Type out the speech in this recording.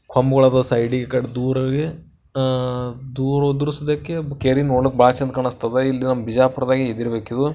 ಕಂಬಗಳದವ ಸೈಡಿಗೆ ಈ ಕಡೆ ದೂರಿಗೆ ಹಾ ದೂರವದ್ರೂ ಸದ್ದಿಕೆ ಕೆರಿ ನೋಡಕ್ ಬಾಳ್ ಚಂದ ಕಾಣಿಸ್ತಾದ ಇಲ್ಲಿ ನಮ್ ಬಿಜಾಪುರದಾಗ ಇದ್ದಿರ್ಬೇಕಿದು.